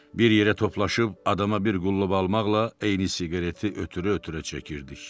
Bir yerə toplaşıb adama bir qullub almaqla eyni siqareti ötürə-ötürə çəkirdik.